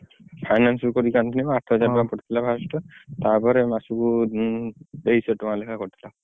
Finance ରୁ କରିକି ଆଣିଥିଲି ନା ଆଠ ହଜାର ଟଙ୍କା ପଡିଥିଲା first ତା ପରେ ମସକୁ ତେଇଶି ଶହ ଟଙ୍କା ଲେଖା କଟିଲା।